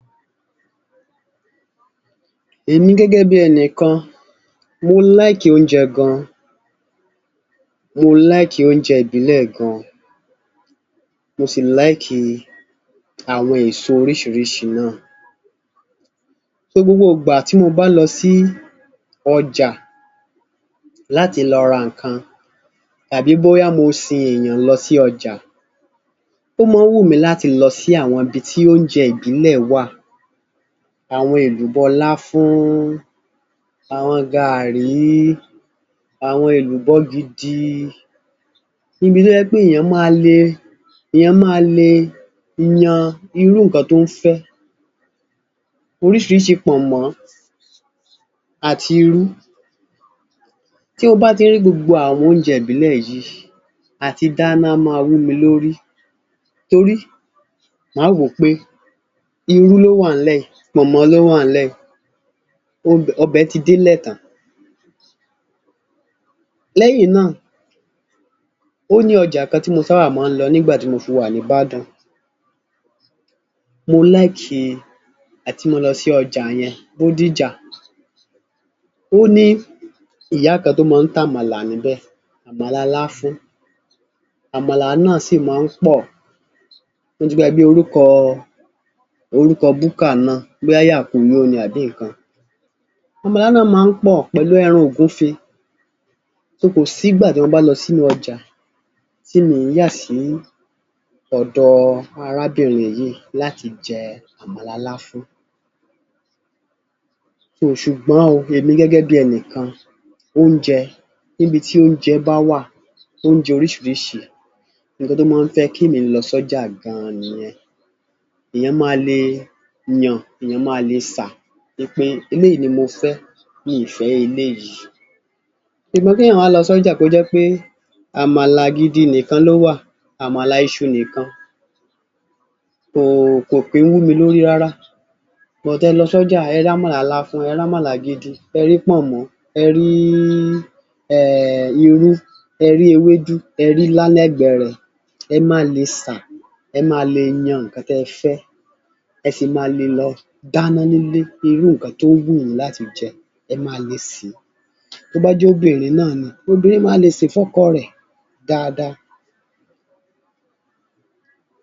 Èmi gẹ́gẹ́ bí ẹnìkan, mo like oúnjẹ gan-an, mo like oúnjẹ ìbílẹ̀ gan-an. Mo sì like àwọn èso oríṣìíríṣìí náà. So gbogbo ìgbà tí mo bá lọ sí ọjà láti lọ ra nǹkan tàbí bóyá mo sin èèyàn lọ sí ọjà, ó mọ́ ọn ń wù mí láti lọ sí àwọn ibi tí oúnjẹ ìbílẹ̀ wà. Àwọn èlùbọ́-láfún, àwọn gaàrí, àwọn èlùbọ́-gidi, ibi tó jẹ́ pé èèyàn ma le, èèyàn ma le yan irú nǹkan tó ń fẹ́. Oríṣìíríṣìí pọ̀nmọ́ àti irú. Tí Mo bá ti rí gbogbo àwọn oúnjẹ ìbílẹ̀ yìí, àtidáná á máa wú mi lórí. Torí máa wò ó pé irú ló wà ńlẹ̀ yìí, pọ̀nmọ́ ló wà ńlẹ̀ yìí, ọbẹ̀ ti délẹ̀ tán. Lẹ́yìn náà, ó ní ọjà kan tí mo sábà máa ń lọ nígbà tí mo fi wà nÍbàdàn, mo like àti mọ́ ọn lọ sí ọjà yẹn Bódìjà. Ó ní ìyá kan tó mọ ń tàmàlà níbẹ̀, àmàlà láfún. Àmàlà náà sì máa ń pọ̀. Mo ti gbàgbé orúkọ búkà náà, bóyá "yà kóoyó" ni àbí nǹkan. Àmàlà náà mọ ń pọ̀ pẹ̀lú ẹran ògúnfe. So kò sígbà tí mo bá lọ sínú ọjà, tí mi ì yà sí ọ̀dọ arábìnrin yìí láti jẹ àmàlà láfún. So ṣùgbọ́n o èmi gẹ́gẹ́ bí ẹnìkan, oúnjẹ, níbi tí oúnjẹ bá wà, oúnjẹ oríṣìíríṣìí, nǹkan tó mọ ń fẹ́ kí èmi lọ sọ́jà gan-an nìyẹn. Èèyàn ma le yàn, èèyàn ma le sà wí pé eléyìí ni mo fẹ́, mi ì fẹ́ eléyìí. Ṣùgbọ́n kéèyàn wá lọ sọ́jà kó jẹ́ pé àmàlà-gidi nìkan ló wà, àmàlà iṣu nìkan, kò kò kì í ń wú mi lórí rárá. But ẹ lọ sọ́jà ẹ rámàlà láfún, ẹ rámàlà gidi, ẹ rí pọ̀nmọ́, ẹ rííí um irú, ẹ rí ewédú, ẹ rílá lẹ́gbẹ̀ẹ́ rẹ̀, ẹ ma lè sà, ẹ ma lè yàn nǹkan tẹ́ẹ fẹ́, ẹ sì ma le lọ dáná nílé irú nǹkan tó wù yín láti jẹ, ẹ ma le sè é. Tó bá jóbìnrin náà ni, obìnrin ma lè sè fọ́kọ rẹ̀ dáadáa.